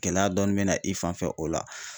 Gɛlɛya dɔɔnin bɛ na i fanfɛ o la.